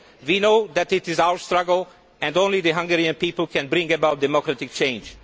We know that it is our struggle and only the Hungarian people can bring about democratic change.